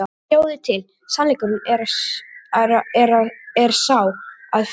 Sjáiði til, sannleikurinn er sá, að fyrir